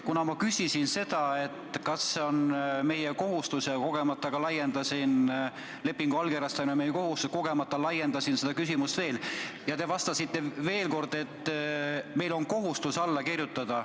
Kuna ma küsisin, kas lepingu allkirjastamine on meie kohustus, ja kogemata laiendasin seda küsimust veel, siis te vastasite veel kord, et meil on kohustus alla kirjutada.